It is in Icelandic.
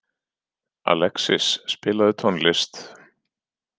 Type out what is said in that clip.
Alexis, spilaðu tónlist.